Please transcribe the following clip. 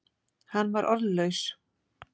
Hann var orðlaus.